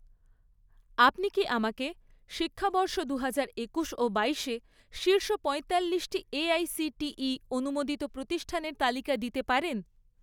আপনি কি আমাকে শিক্ষাবর্ষ দুহাজার একুশ ও বাইশে শীর্ষ পঁয়তাল্লিশটি এআইসিটিই অনুমোদিত প্রতিষ্ঠানের তালিকা দিতে পারেন?